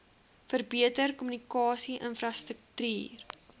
verbeter kommunikasie infrastruktuur